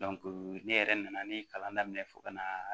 ne yɛrɛ nana ni kalan daminɛ fo ka na